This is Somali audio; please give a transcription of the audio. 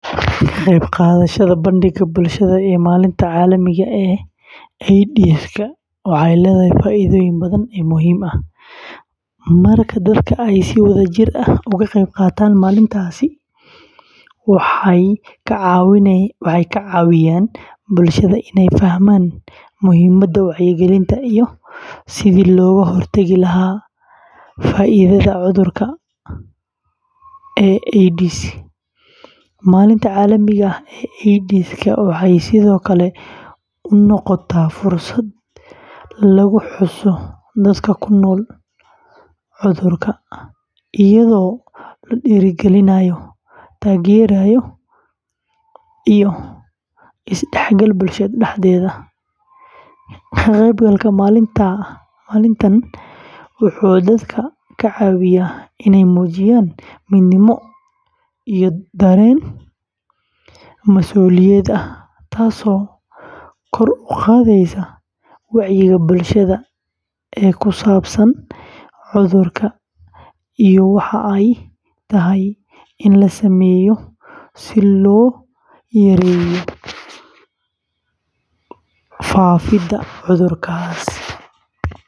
Ka qaybqaadashada bandhigga bulshada ee Maalinta Caalamiga ah ee AIDS-ka waxay leedahay faa’iidooyin badan oo muhiim ah. Marka dadka ay si wadajir ah uga qeyb qaataan maalintaasi, waxay ka caawiyaan bulshada inay fahmaan muhiimadda wacyigelinta iyo sidii looga hortagi lahaa faafidda cudurka AIDS. Maalinta Caalamiga ah ee AIDS-ka waxay sidoo kale u noqotaa fursad lagu xuso dadka ku nool cudurka, iyadoo la dhiirrigelinayo taageero iyo isdhexgal bulshada dhexdeeda. Ka qaybgalka maalintan wuxuu dadka ka caawiyaa inay muujiyaan midnimo iyo dareen mas’uuliyad ah, taasoo kor u qaadaysa wacyiga bulshada ee ku saabsan cudurka iyo waxa ay tahay in la sameeyo si loo yareeyo faafidda.